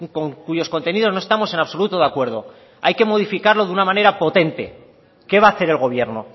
con cuyos contenidos no estamos en absoluto de acuerdo hay que modificarlo de una manera potente qué va a hacer el gobierno